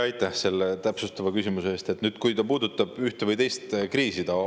Aitäh selle täpsustava küsimuse eest!